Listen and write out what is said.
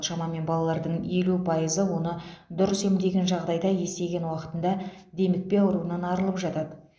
шамамен балалардың елу пайызы оны дұрыс емдеген жағдайда есейген уақытында демікпе ауруынан арылып жатады